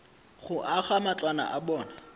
go aga matlwana a bona